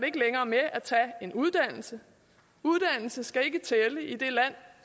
ikke længere med at tage en uddannelse uddannelse skal ikke tælle i et land